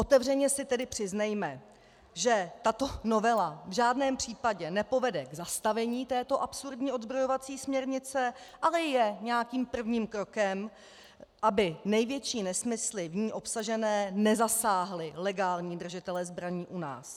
Otevřeně si tedy přiznejme, že tato novela v žádném případě nepovede k zastavení této absurdní odzbrojovací směrnice, ale je nějakým prvním krokem, aby největší nesmysly v ní obsažené nezasáhly legální držitele zbraní u nás.